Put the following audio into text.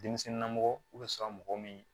Denmisɛnninlamɔgɔ bɛ sɔrɔ mɔgɔ min